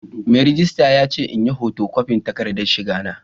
Mai rejista ya ce in yi hoto kwafin takardar shiga ta.